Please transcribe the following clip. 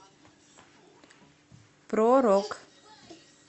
про рок